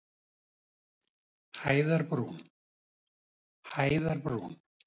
Hæðarbrún